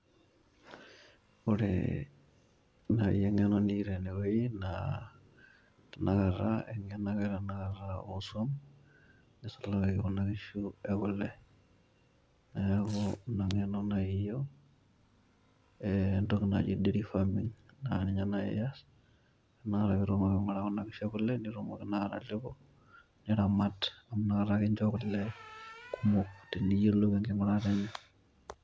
Ore eng'eno niyu naaji teinewueji naa eng'eno aka e tenakata oo swam. Neisulaki Kuna kishu e kulle, neaku inaaji entoki nayiolou, entoki naji dairy farming, naa ninye naaji ias naa Kuna kishu e kule pee itumoki naa atalepo ,niramat, amu Ina kata kincho kule kumok, teniyolou enking'urata enye.